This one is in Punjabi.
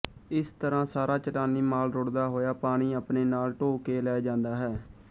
ਇਸ ਤਰ੍ਹਾਂ ਸਾਰਾ ਚਟਾਨੀ ਮਾਲ ਰੁੜ੍ਹਦਾ ਹੋਇਆ ਪਾਣੀ ਆਪਣੇ ਨਾਲ ਢੋਅ ਕੇ ਲੈ ਜਾਂਦਾ ਹੈ